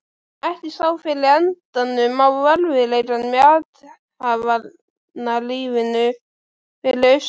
Ekki sá fyrir endann á erfiðleikunum í athafnalífinu fyrir austan.